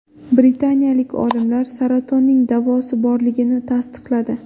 Britaniyalik olimlar saratonning davosi borligini tasdiqladi.